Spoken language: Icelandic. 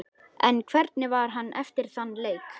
En hvernig var hann eftir þann leik?